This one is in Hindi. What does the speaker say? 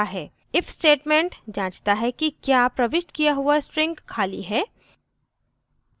if statement जाँचता है कि the प्रविष्ट किया हुआ string खाली है